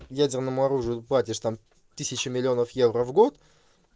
ядерному оружию платишь там тысячу миллионов евро в год